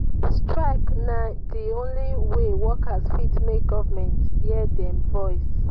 strike na di only way workers fit make government hear dem voice.